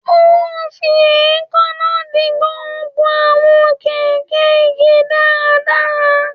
Ó ń fi èékánná dì gbogbo àwọn gégé igi dáradára